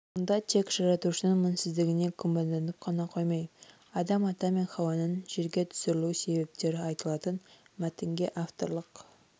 мұнда тек жаратушының мінсіздігіне күмәнданып қана қоймай адам ата мен хауа ананың жерге түсірілу себептері айтылатын мәтінге авторлық